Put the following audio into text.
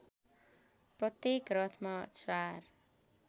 प्रत्येक रथमा चार